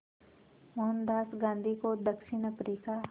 मोहनदास गांधी को दक्षिण अफ्रीका